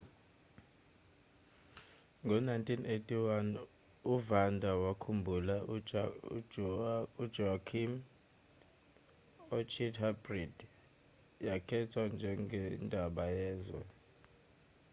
ngo-1981 uvanda wakhumbula ujoaquim iorchid hybrid yakhethwa njengendaba yezwe